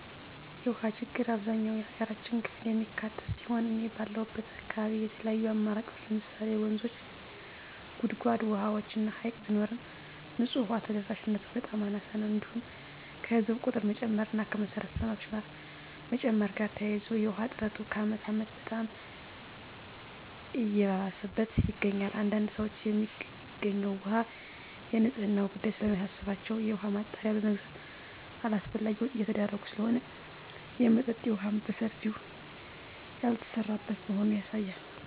የውሃ ችግር አብዛኛው የሀገራችን ክፍል የሚካትት ሲሆን እኔ ባለሁበት አካባቢ የተለያዩ አማራጮች ለምሳሌ ወንዞች; ጉድጓድ ውሃዎች እና ሀይቅ ቢኖርም ንፁህ ውሃ ተደራሽነቱ በጣም አናሳ ነው። እንዲሁም ከህዝብ ቁጥር መጨመር እና ከመሰረተ ልማቶች መጨመር ጋር ተያይዞ የውሃ እጥረቱ ከአመት አመት በጣም እየባሰበት ይገኛል። አንዳንድ ሰዎች የሚገኘው ውሃ የንፅህናው ጉዳይ ስለሚያሳስባቸው የውሃ ማጣሪያ በመግዛት አላስፈላጊ ወጭ እየተዳረጉ ስለሆነ የመጠጠጥ የውሃ በሰፊው ያልተሰራበት መሆኑ ያሳያል።